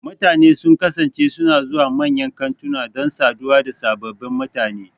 Mutane sun kasance suna zuwa manyan kantuna don saduwa da sababbin mutane.